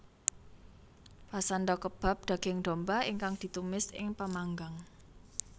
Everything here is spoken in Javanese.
Pasanda kebab daging domba ingkang ditumis ing pemanggang